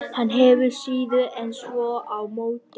Hann hefur síður en svo á móti því.